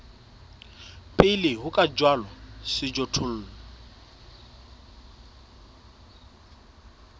pele ho ka jalwa sejothollo